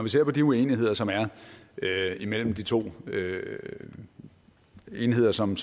vi ser på de uenigheder som er imellem de to enheder som